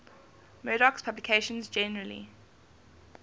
murdoch's publications generally